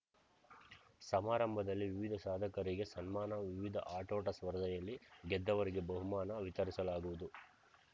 ಸಮಾರಂಭದಲ್ಲಿ ವಿವಿಧ ಸಾಧಕರಿಗೆ ಸನ್ಮಾನ ವಿವಿಧ ಆಟೋಟ ಸ್ಪರ್ಧೆಯಲ್ಲಿ ಗೆದ್ದವರಿಗೆ ಬಹುಮಾನ ವಿತರಿಸಲಾಗುವುದು